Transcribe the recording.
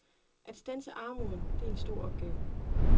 At standse armoden, det er en stor opgave.